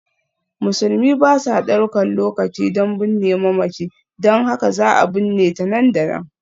Musulmi ba sa ɗaukar lokaci don binne mamaci, don haka za a binne ta nan da nan.